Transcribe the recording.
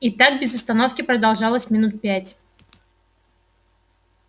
и так без остановки продолжалось минут пять